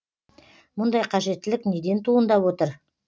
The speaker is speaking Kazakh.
мұндай қажеттілік неден туындап отыр